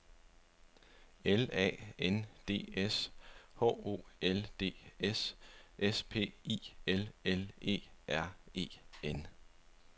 L A N D S H O L D S S P I L L E R E N